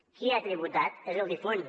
qui ha tributat és el difunt